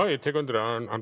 ég tek undir það hann